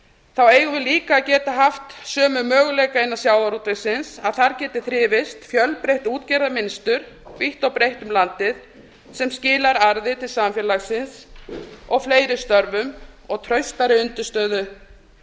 þá eigum við líka að geta haft sömu möguleika innan sjávarútvegsins að þar geti þrifist fjölbreytt útgerðarmynstur vítt og breitt um landið sem skilar arði til samfélagsins og fleiri störfum og traustari undirstöðu